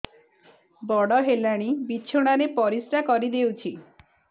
ବଡ଼ ହେଲାଣି ବିଛଣା ରେ ପରିସ୍ରା କରିଦେଉଛି